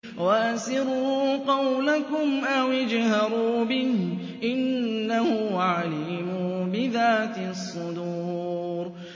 وَأَسِرُّوا قَوْلَكُمْ أَوِ اجْهَرُوا بِهِ ۖ إِنَّهُ عَلِيمٌ بِذَاتِ الصُّدُورِ